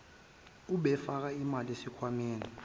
obefaka imali esikhwameni